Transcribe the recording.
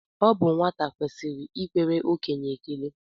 Ọ bụ nwata kwesịrị ikwere okenye ekele